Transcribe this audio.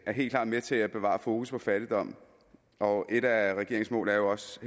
er helt klart med til at bevare fokus på fattigdom og et af regeringens mål er jo også